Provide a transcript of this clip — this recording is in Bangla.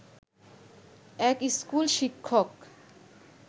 এক স্কুল শিক্ষক